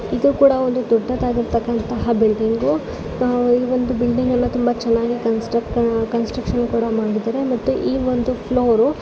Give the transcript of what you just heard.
ಇದು ಕೂಡ ಒಂದು ದೊಡ್ಡದಾಗಿರ್ತಕ್ಕಂತಹ ಬಿಲ್ಡಿಂಗು ಈ ಒಂದು ಬಿಲ್ಡಿಂಗನ್ನ ತುಂಬಾ ಚೆನ್ನಾಗಿ ಕನ್ಸ್ಟ್ರಕ್ಟ್ ಕನ್ಸ್ಟ್ರಕ್ಷನ್ ಮಾಡುತ್ತಿದ್ದಾರೆ ಮತ್ತೆ ಈ ಒಂದು ಫ್ಲೂರು --